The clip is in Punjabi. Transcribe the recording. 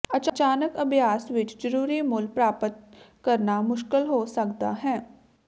ਅਚਾਨਕ ਅਭਿਆਸ ਵਿੱਚ ਜ਼ਰੂਰੀ ਮੁੱਲ ਪ੍ਰਾਪਤ ਕਰਨਾ ਮੁਸ਼ਕਲ ਹੋ ਸਕਦਾ ਹੈ